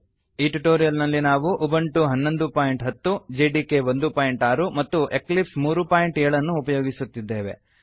ಈ ಟ್ಯುಟೋರಿಯಲ್ ನಲ್ಲಿ ನಾವು ಉಬುಂಟು 1110 ಹನ್ನೊಂದು ಬಿಂದು ಹತ್ತು ಜೆಡಿಕೆ 16 ಒಂದು ಬಿಂದು ಆರು ಮತ್ತು ಎಕ್ಲಿಪ್ಸ್ 37 ಮೂರು ಬಿಂದು ಏಳು ಅನ್ನು ಉಪಯೋಗಿಸುತ್ತಿದ್ದೇವೆ